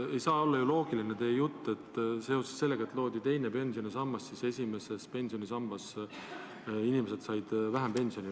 Ei saa olla ju loogiline teie jutt, et seoses sellega, et loodi teine pensionisammas, said inimesed esimesest pensionisambast vähem pensioni.